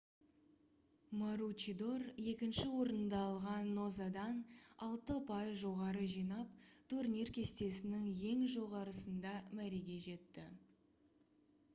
маручидор екінші орынды алған нозадан алты ұпай жоғары жинап турнир кестесінің ең жоғарысында мәреге жетті